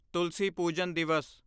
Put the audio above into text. ਤੁਲਸੀ ਪੂਜਨ ਦਿਵਸ